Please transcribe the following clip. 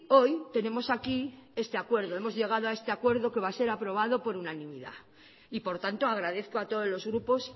hoy tenemos aquí este acuerdo hemos llegado a este acuerdo que va a ser aprobado por unanimidad y por tanto agradezco a todos los grupos